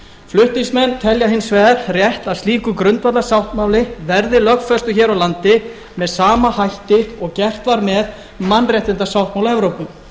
flutningsmenn telja hins vegar rétt að slíkur grundvallarsáttmáli verði lögfestur hér á landi með sama hætti og gert var með mannréttindasáttmála evrópu